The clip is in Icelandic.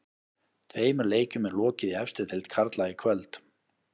Tveimur leikjum er lokið í efstu deild karla í kvöld.